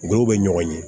Ngɔw be ɲɔgɔn ye